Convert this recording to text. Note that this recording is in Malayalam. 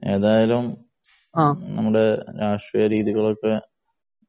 ഏതായാലും നമ്മുടെ രാഷ്ട്രീയ രീതികളൊക്കെ